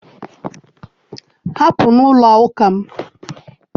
Hapụ n'ụlọ ụka m